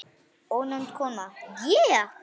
Ónefnd kona: Ég?